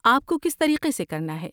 آپ کو کس طریقے سے کرنا ہے؟